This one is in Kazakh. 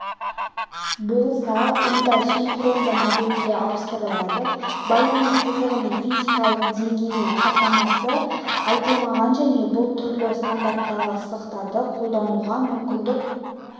болса онда синхронды модемге ауыстырылады байланыс сызығының физикалық деңгейінің хаттамасы айтылмаған және бұл түрлі стандарттағы сызықтарды қолдануға мүмкіндік